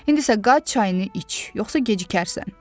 İndi isə qaç, çayını iç, yoxsa gecikərsən.